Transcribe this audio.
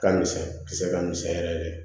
Ka misɛn kisɛ ka misɛn yɛrɛ yɛrɛ de